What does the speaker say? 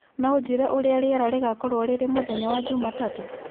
no ũnjĩĩre ũrĩa rĩera rĩgaakorwo rĩrĩ mũthenya wa Jumatatu